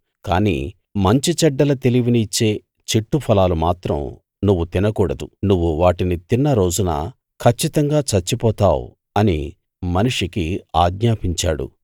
కాని మంచి చెడ్డల తెలివిని ఇచ్చే చెట్టు ఫలాలు మాత్రం నువ్వు తినకూడదు నువ్వు వాటిని తిన్నరోజున కచ్చితంగా చచ్చిపోతావు అని మనిషికి ఆజ్ఞాపించాడు